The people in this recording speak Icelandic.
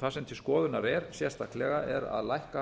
það sem til skoðunar er sérstaklega er að lækka